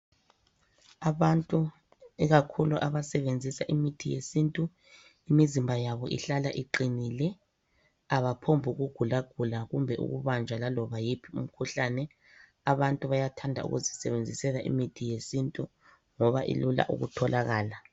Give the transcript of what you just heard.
Abantu ikakhulu abasebenzisa imithi yesintu, imizimba yabo ihlala iqinile. Abaphomb' ukugulagula kumbe ukubanjwa laloba yiphi imkhuhlane. Abantu bayathanda ukuzisebenzisela imithi yesintu ngoba ilula ukutholakala.